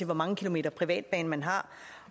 hvor mange kilometer privatbane man har